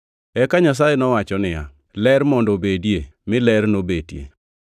Eka Nyasaye nowacho niya, “Ler mondo obedie,” mi ler nobetie.